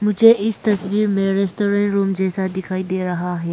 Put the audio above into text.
मुझे इस तस्वीर में रेस्टोरेंट रूम जैसा दिखाई दे रहा है।